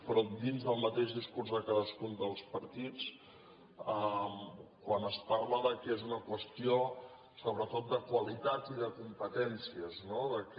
però dins del mateix discurs de cadascun dels partits quan es parla del fet que és una qüestió sobretot de qualitat i de competències no del fet que